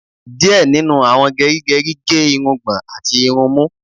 Díẹ̀ nínú àwọn gerigeri ge irungbọn àti irun imú